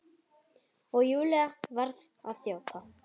Og Júlía varð að þjóta.